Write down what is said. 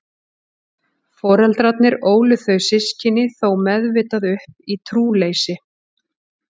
Foreldrarnir ólu þau systkini þó meðvitað upp í trúleysi.